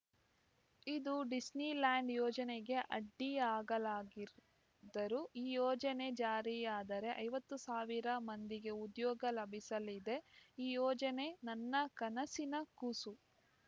ಇದು ಡಿಸ್ನಿಲ್ಯಾಂಡ್‌ ಯೋಜನೆಗೆ ಅಡ್ಡಿಯಾಗಲಾಗಿರುದ್ದರು ಈ ಯೋಜನೆ ಜಾರಿಯಾದರೆ ಐವತ್ತು ಸಾವಿರ ಮಂದಿಗೆ ಉದ್ಯೋಗ ಲಭಿಸಲಿದೆ ಈ ಯೋಜನೆ ನನ್ನ ಕನಸಿನ ಕೂಸು